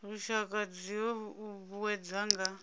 lushaka dzi o uuwedzwa nga